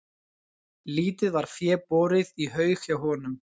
Lítið var fé borið í haug hjá honum.